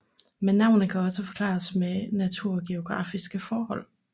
Men navnet kan også forklares ved naturgeografiske forhold